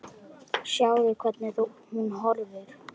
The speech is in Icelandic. Sjáðu, hvernig hún horfir!